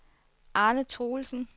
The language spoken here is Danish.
Arne Truelsen